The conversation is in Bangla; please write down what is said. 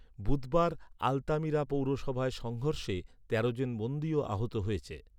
বুধবার আলতামিরা পৌরসভায় সংঘর্ষে তেরোজন বন্দীও আহত হয়েছে।